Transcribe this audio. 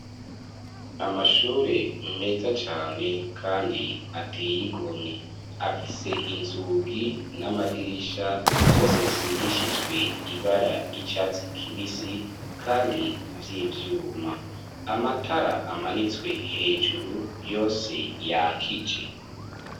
Amashure meza cane kandi ateye igomye afise inzugi n'amadirisha vyose bisigishijwe ibara ry'icatsi kibisi kandi vyivyuma, amatara amanitswe hejuru yose yakije.